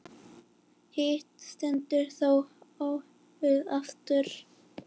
Hitt stendur þó óhikað eftir.